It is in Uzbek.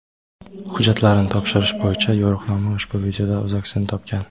Hujjatlarni topshirish bo‘yicha yo‘riqnoma ushbu videoda o‘z aksini topgan.